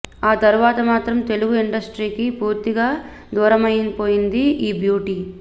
ఆ తర్వాత మాత్రం తెలుగు ఇండస్ట్రీకి పూర్తిగా దూరమైపోయింది ఈ బ్యూటీ